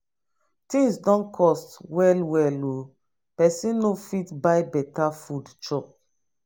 tins don cost well well o pesin no fit buy beta food chop.